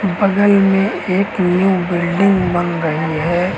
बगल में एक न्यू बिल्डिंग बन रही है।